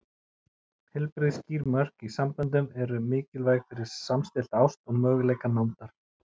Heilbrigð, skýr mörk í samböndum eru mikilvæg fyrir samstillta ást og möguleika nándar.